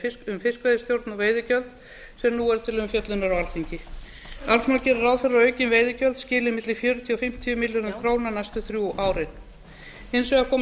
um fiskveiðistjórn og veiðigjöld sem nú eru til umfjöllunar á alþingi alls má gera ráð fyrir að aukin veiðigjöld skili milli fjörutíu og fimmtíu milljörðum króna næstu þrjú árin hins vegar komi